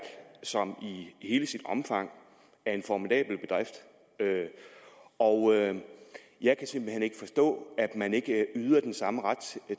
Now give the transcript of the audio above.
som i hele sit omfang er en formidabel bedrift og jeg kan simpelt hen ikke forstå at man ikke yder den samme ret